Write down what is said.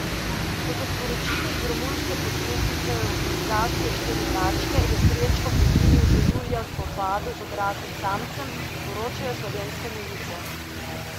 Kot so sporočili iz romunske podružnice organizacije Štiri tačke je Srečko poginil že julija v spopadu z odraslim samcem, poročajo Slovenske novice.